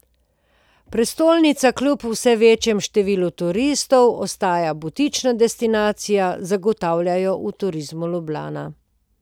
Prestolnica kljub vse večjemu številu turistov ostaja butična destinacija, zagotavljajo v Turizmu Ljubljana.